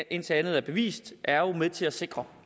indtil andet er bevist er jo med til at sikre